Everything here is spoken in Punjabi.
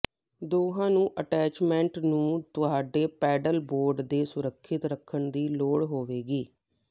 ਦੋਹਾਂ ਨੂੰ ਅਟੈਚਮੈਂਟ ਨੂੰ ਤੁਹਾਡੇ ਪੈਡਲ ਬੋਰਡ ਤੇ ਸੁਰੱਖਿਅਤ ਰੱਖਣ ਦੀ ਲੋੜ ਹੋਵੇਗੀ